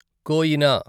Koyna